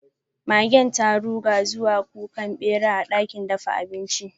Magen ta ruga zuwa kukan bera a dakin dafa abinci.